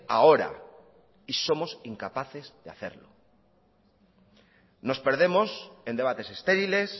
ahora y somos incapaces de hacerlo nos perdemos en debates estériles